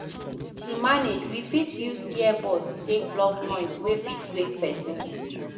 To manage we fit use ear buds take block noise wey fit wake person